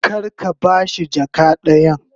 Kar ka ba shi jaka dayan.